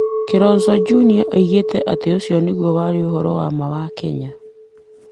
Kilonzo Jnr oigire atĩ, ũcio nĩguo warĩ ũhoro wa ma wa Kenya.